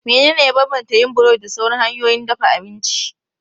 Menene ya bambanta yin burodi da sauran hanyoyin dafa abinci?